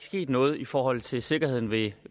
sket noget i forhold til sikkerheden ved